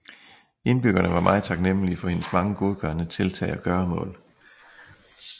Indbyggerne var meget taknemmelige for hendes mange godgørende tiltag og gøremål